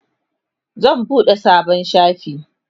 zasu buɗe sabon shafi